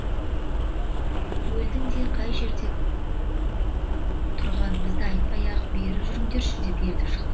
келдім де қай жерде тұрғанымызды айтпай ақ бері жүріңдерші деп ертіп шықтым